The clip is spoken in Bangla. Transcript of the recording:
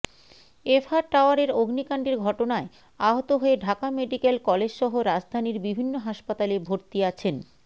এফ আর টাওয়ারের অগ্নিকাণ্ডের ঘটনায় আহত হয়ে ঢাকা মেডিক্যাল কলেজসহ রাজধানীর বিভিন্ন হাসপাতালে ভর্তি আছেন